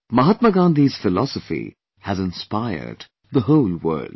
Mahatma Gandhi's philosophy has inspired the whole world